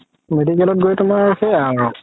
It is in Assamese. medical ত গৈ তুমাৰ সেইয়া আৰু